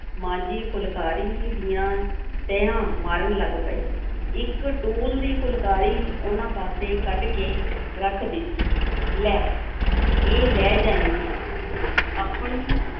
ਮਾਂ ਜੀ ਫੁਲਕਾਰੀਆਂ ਦੀਆਂ ਤਹਿਆਂ ਮਾਰਨ ਲੱਗ ਪਏ, ਇੱਕ ਟੂਲ ਦੀ ਫੁਲਕਾਰੀ ਉਹਨਾਂ ਪਾਸੇ ਕੱਢ ਕੇ ਰੱਖ ਦਿੱਤੀ, ਲੈ ਇਹ ਲੈ ਜਾਈਂ ਤੂੰ, ਆਪਣੀ